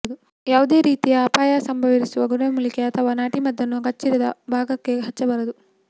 ಯಾವುದೇ ರೀತಿಯ ಅಪಾಯ ಸಂಭವವಿರುವ ಗಿಡಮೂಲಿಕೆ ಅಥವಾ ನಾಟಿ ಮದ್ದನ್ನು ಕಚ್ಚಿರುವ ಭಾಗಕ್ಕೆ ಹಚ್ಚಬಾರದು